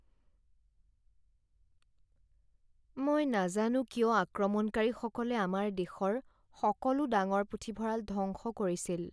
মই নাজানো কিয় আক্ৰমণকাৰীসকলে আমাৰ দেশৰ সকলো ডাঙৰ পুথিভঁৰাল ধ্বংস কৰিছিল।